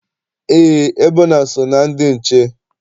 Eé, Ebona so na ndị nche.